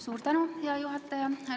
Suur tänu, hea juhataja!